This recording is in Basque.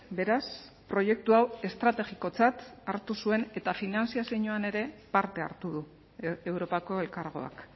beraz proiektu hau estrategikotzat hartu zuen eta finantzazioan ere parte hartu du europako elkargoak